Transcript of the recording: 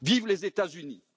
Vivent les États Unis.